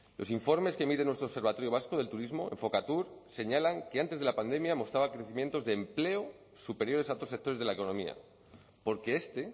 los informes que emite nuestro observatorio vasco del turismo enfokatur señalan que antes de la pandemia mostraba crecimientos de empleo superiores a otros sectores de la economía porque este